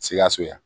Sikaso yan